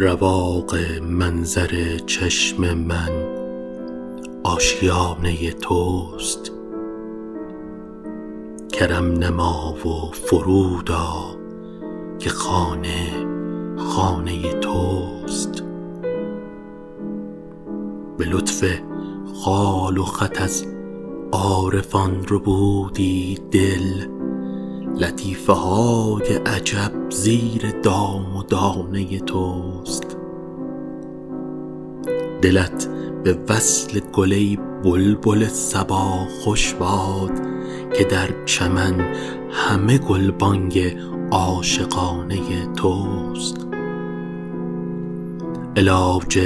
رواق منظر چشم من آشیانه توست کرم نما و فرود آ که خانه خانه توست به لطف خال و خط از عارفان ربودی دل لطیفه های عجب زیر دام و دانه توست دلت به وصل گل ای بلبل صبا خوش باد که در چمن همه گلبانگ عاشقانه توست علاج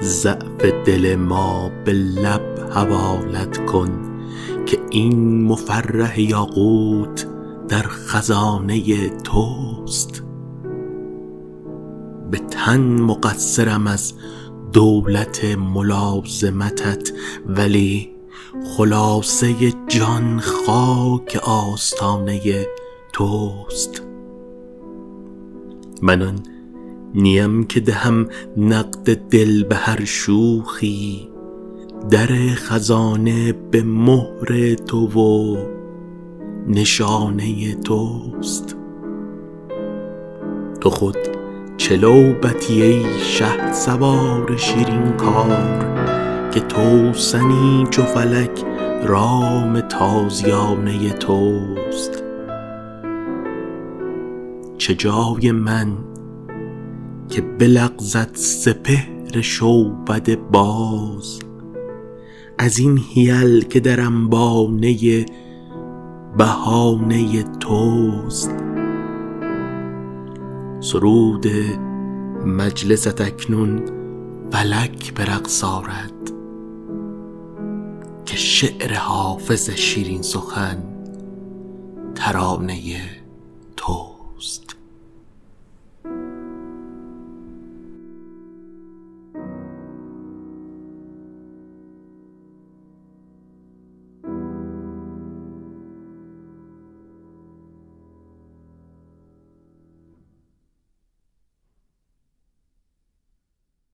ضعف دل ما به لب حوالت کن که این مفرح یاقوت در خزانه توست به تن مقصرم از دولت ملازمتت ولی خلاصه جان خاک آستانه توست من آن نیم که دهم نقد دل به هر شوخی در خزانه به مهر تو و نشانه توست تو خود چه لعبتی ای شهسوار شیرین کار که توسنی چو فلک رام تازیانه توست چه جای من که بلغزد سپهر شعبده باز از این حیل که در انبانه بهانه توست سرود مجلست اکنون فلک به رقص آرد که شعر حافظ شیرین سخن ترانه توست